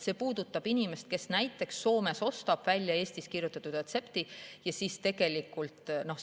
See puudutab inimest, kes näiteks Soomes ostab ravimeid Eestis väljakirjutatud retsepti alusel.